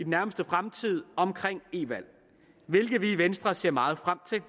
nærmeste fremtid om e valg hvilket vi i venstre ser meget frem til